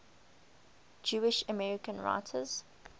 jewish american writers